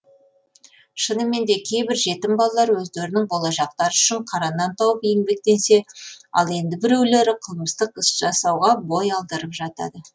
шынымен де кейбір жетім балалар өздерінің болашақтары үшін қара нан тауып еңбектенсе ал енді біреулері қылмыстық іс жасауға бой алдырып жатады